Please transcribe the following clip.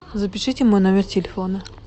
запишите мой номер телефона